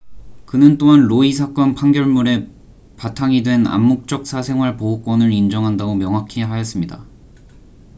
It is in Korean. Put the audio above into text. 그는 또한 roe 사건 판결문에 바탕이 된 암묵적 사생활 보호권을 인정한다고 명확히 하였습니다